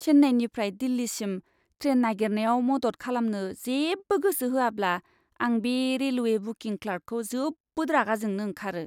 चेन्नाइनिफ्राय दिल्लीसिम ट्रेन नागिरनायाव मदद खालामनो जेबो गोसो होआब्ला आं बे रेलवे बुकिं क्लार्कखौ जोबोद रागा जोंनो ओंखारो ।